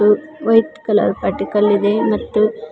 white colour particle ಇದೆ ಮತ್ತು--